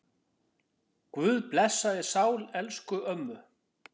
Guð blessi sál elsku ömmu.